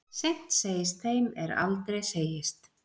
Seint segist þeim er aldrei segist.